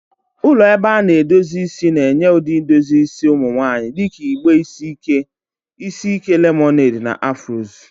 Ụlọ ebe a na-edozi isi na-enye ụdị edozi isi ụmụ nwanyị dị ka igbe isi ike, isi ike lemoned, na Afros.